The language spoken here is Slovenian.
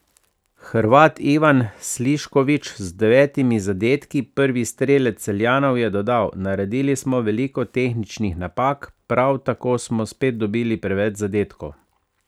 Hrvat Ivan Slišković, z devetimi zadetki prvi strelec Celjanov, je dodal: 'Naredili smo veliko tehničnih napak, prav tako smo spet dobili preveč zadetkov.